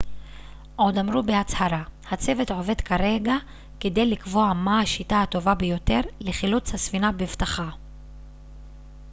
עוד אמרו בהצהרה הצוות עובד כרגע כדי לקבוע מה השיטה הטובה ביותר לחילוץ הספינה בבטחה